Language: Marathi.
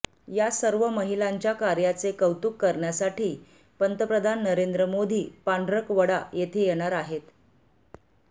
या सर्व महिलांच्या कार्याचे कौतुक करण्यासाठी पंतप्रधान नरेंद्र मोदी पांढरकवडा येथे येणार आहेत